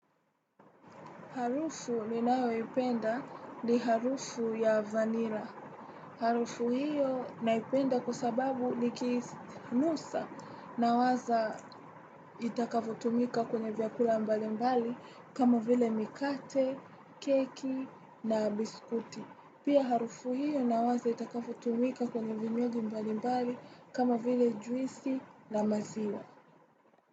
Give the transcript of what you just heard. Harufu ninayoipenda ni harufu ya vanilla. Harufu hiyo naipenda kwa sababu liki nusa nawaza itakavyotumika katika vyakula mbalimbali kama vile mikate keki na biskuti. Pia harufu hiyo nawaza itakavyotumika kwenye vinywaji mbali mbali kama vile juisi na maziwa.